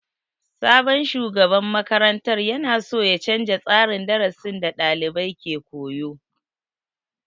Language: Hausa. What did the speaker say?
Sabon shugaban makarantar ya na so ya canja tsarin darasin da dalibai ke koyo.